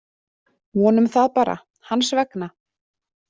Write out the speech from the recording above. Vonum það bara, hans vegna.